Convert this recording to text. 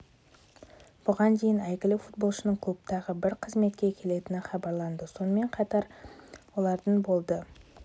бұған дейін әйгілі футболшының клубтағы бір қызметке келетіні хабарланған сонымен қатар неапольдің құрметті азаматы атанаты белгілі